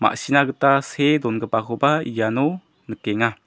ma·sina gita see dongipakoba iano nikenga.